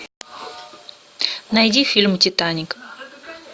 найди фильм титаник